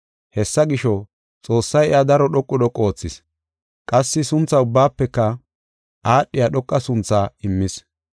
Hessa gisho, Xoossay iya daro dhoqu dhoqu oothis; qassi suntha ubbaafeka aadhiya dhoqa sunthaa immis.